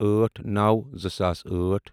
أٹھ نوَ زٕ ساس أٹھ